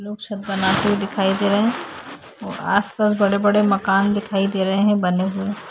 लोग सब बनाते हुए दिखाई दे रहे हैं और आस-पास बड़े-बड़े मकान दिखाई दे रहे हैं बने हुए।